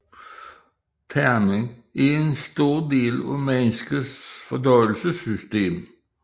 Tarmen er en stor del af menneskets fordøjelsessystem